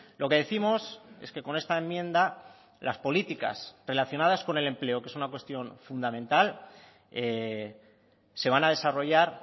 lo que décimos es que con esta enmienda las políticas relacionadas con el empleo que es una cuestión fundamental se van a desarrollar